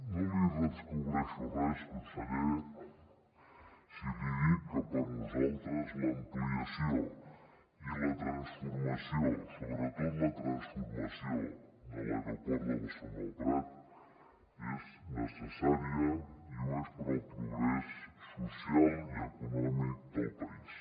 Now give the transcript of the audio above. no li descobreixo res conseller si li dic que per nosaltres l’ampliació i la transformació sobretot la transformació de l’aeroport de barcelona el prat és necessària i ho és per al progrés social i econòmic del país